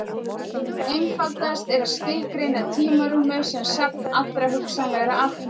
Einfaldast er að skilgreina tímarúmið sem safn allra hugsanlegra atburða.